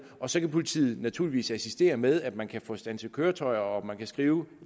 og så kan politiet naturligvis assistere med at man kan få standset køretøjer og at man kan skrive